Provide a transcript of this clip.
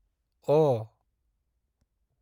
अ